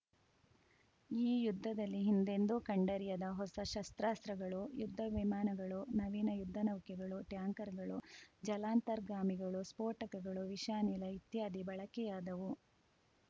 ಈ ಯುದ್ಧದಲ್ಲಿ ಹಿಂದೆಂದೂ ಕಂಡರಿಯದ ಹೊಸ ಶಸ್ತ್ರಾಸ್ತ್ರಗಳು ಯುದ್ಧ ವಿಮಾನಗಳು ನವೀನ ಯುದ್ಧ ನೌಕೆಗಳು ಟ್ಯಾಂಕರ್‌ಗಳು ಜಲಾಂತರ್ಗಾಮಿಗಳು ಸ್ಫೋಟಕಗಳು ವಿಷಾನಿಲ ಇತ್ಯಾದಿ ಬಳಕೆಯಾದವು